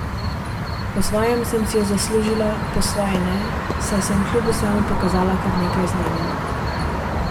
Po svoje sem si jo zaslužila, po svoje ne, saj sem kljub vsemu pokazala kar nekaj znanja.